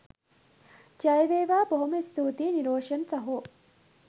ජය වේවා! බොහොම ස්තූතියි නිරෝෂන් සහෝ